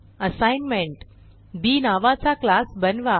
assignment B नावाचा class बनवा